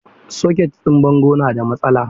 Socket ɗin bango na da matsala.